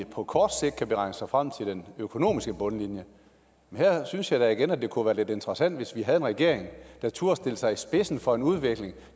på kort sigt kan beregne sig frem til den økonomiske bundlinje men her synes jeg da igen at det kunne være lidt interessant hvis vi havde en regering der turde stille sig i spidsen for en udvikling